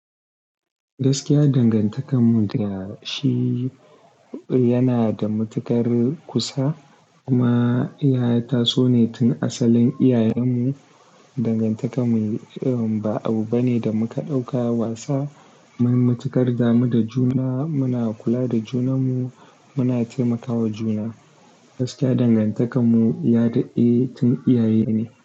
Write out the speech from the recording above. Gaskiya dangantakanmu da shi yana da matuƙar kusa. Kuma ya taso ne tun asalin iyayenmu. Dangantakar mu ih ih ba abu bane da muka ɗauka wasa. Mun matuƙar damu da juna. Muna kula da junanmu, muna taimakawa juna. Gaskiya dangantakar mu ya da eh tun iyaye ne.